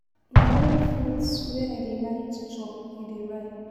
Na only fruits wey I dey like to chop he dey buy.